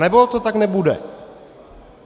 Anebo to tak nebude.